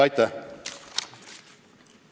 Aitäh!